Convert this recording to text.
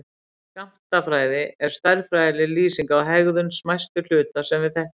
Skammtafræði er stærðfræðileg lýsing á hegðun smæstu hluta sem við þekkjum.